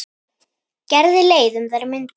Gerði leið um þær mundir.